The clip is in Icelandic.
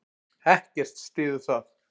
Ekkert styður það.